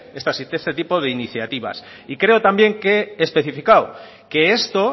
este tipo de iniciativas creo también que especificado que esto